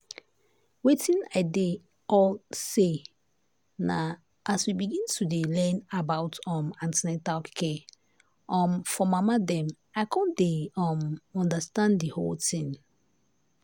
wetin i dey all na say as we begin to dey learn about um an ten atal care um for mama dem i come dey um understand the whole thing.